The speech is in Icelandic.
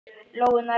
Lóu nærri sér.